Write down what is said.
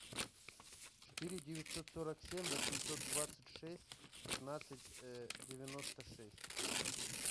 четыре девятьсот сорок семь восемьсот двадцать шесть пятнадцать девяносто шесть